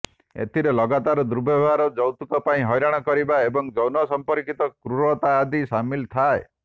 ଏଥିରେ ଲଗାତାର ଦୁର୍ବ୍ୟବହାର ଯୌତୁକ ପାଇଁ ହଇରାଣ କରିବା ଏବଂ ଯୌନ ସମ୍ପର୍କିତ କ୍ରୁରତା ଆଦି ସାମିଲ ଥାଏ